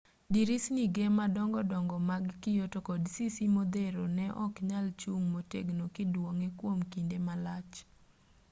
dirisni ge madongo dongo mag kio to kod sisi modhero ne oknyal chung motegno kiduong'e kwom kinde malach